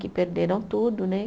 Que perderam tudo, né?